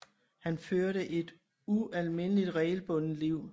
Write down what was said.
Han førte et ualmindeligt regelbundet liv